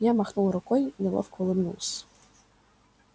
я махнул рукой неловко улыбнулся